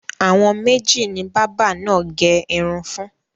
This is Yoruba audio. Àwọn méjì ni bábà náà gẹ irun fún.